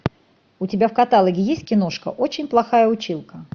у тебя в каталоге есть киношка очень плохая училка